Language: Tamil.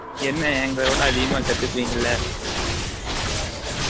என்ன எங்கல விட அதிகமா கத்துகிவிங்கல